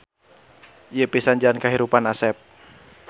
Ieu pisan jalan kahirupan Asep.